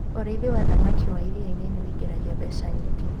ũrĩithi wa thamakĩ wa iria-inĩ nĩungiragia mbeca nyingi